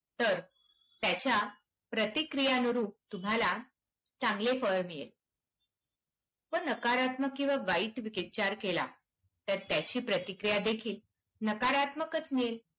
तर त्याच्या प्रतिक्रियांनरूप तुम्हाला चांगले फळ मिळेल. व नकारात्मक किंवा वाईट विचार केला तर त्याची प्रतिक्रियादेखील नकारात्मकच मिळेल.